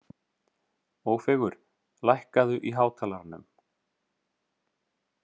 Ófeigur, lækkaðu í hátalaranum.